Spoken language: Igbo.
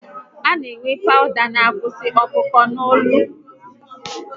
A na enwe pawụda n'akwụsi ọkụ ọkụ n'ụlọ ebe a na akpụ isi